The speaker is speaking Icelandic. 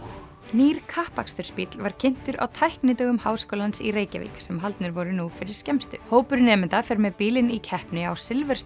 nýr kappakstursbíll var kynntur á Háskólans í Reykjavík sem haldnir voru nú fyrir skemmstu hópur nemenda fer með bílinn í keppni á